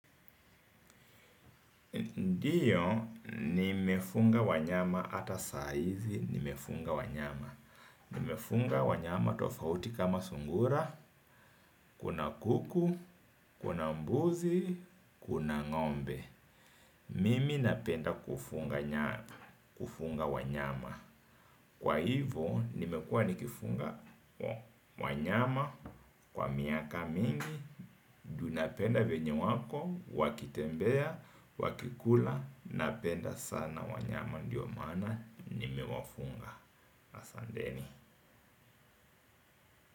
Ndiyo, nimefunga wanyama ata saizi nimefunga wanyama. Nimefunga wanyama tofauti kama sungura, kuna kuku, kuna mbuzi, kuna ngombe. Mimi napenda kufunga wanyama. Kwa hivo nimekua nikifunga wanyama kwa miaka mingi tunapenda venye wako, wakitembea, wakikula. Napenda sana wanyama ndiyo maana nimewafunga. Asanteni.